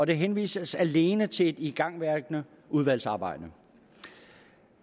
der henvises alene til et igangværende udvalgsarbejde